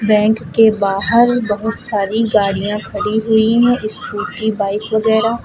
bank के बाहर बहुत सारी गाड़ियां खड़ी हुई है स्कूटी बाइक वगैरह--